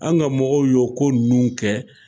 An ka mɔgɔw y'o ko ninnu kɛ,